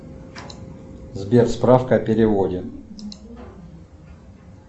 сбер справка о переводе